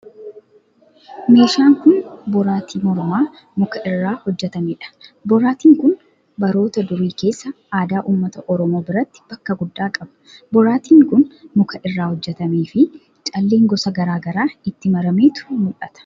Meeshaan kun, boraatii mormaa muka irraa hojjatamee dha. Boraatiin kun, baroota darii keessa aadaa ummata Oromoo biratti bakka guddaa qaba. Boraatiin kun, muka irraa hojjatamee fi calleen gosa gara garaa itti marameetu mul'ata.